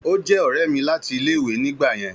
Ó je òré mi láti ilé ìwé ni gba yen